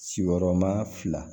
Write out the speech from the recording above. Sigiyɔrɔma fila